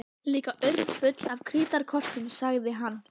Líka urmull af krítarkortum sagði hann.